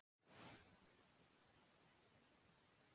En hvað segir þú Jónas, ætlið þið að vera með fyrstu tölur í kvöld?